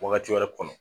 Wagati wɛrɛ kɔnɔ